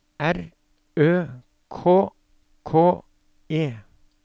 R Ø K K E